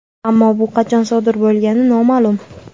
Ammo bu qachon sodir bo‘lgani noma’lum.